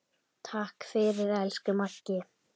Takk fyrir, elsku Maggi.